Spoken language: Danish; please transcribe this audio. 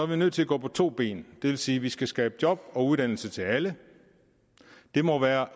vi nødt til at gå på to ben det vil sige at vi skal skabe job og uddannelse til alle det må være